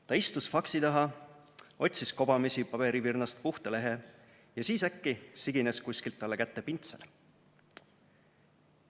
" Ta istus faksi taha, otsis kobamisi paberivirnast puhta lehe ja siis äkki sigines kuskilt talle kätte pintsel.